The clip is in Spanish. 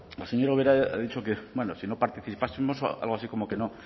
la señora ubera ha dicho que si no participásemos algo así como que no